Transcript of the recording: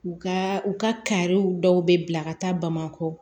U ka u ka kariw dɔw bɛ bila ka taa bamakɔ